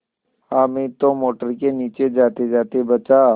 हामिद तो मोटर के नीचे जातेजाते बचा